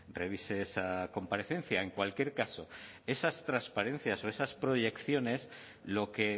revise esa comparecencia en cualquier caso esas transparencias o esas proyecciones lo que